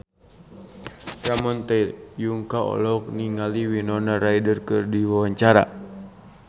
Ramon T. Yungka olohok ningali Winona Ryder keur diwawancara